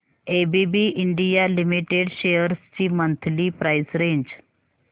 ABB India limited shares ची monthly price range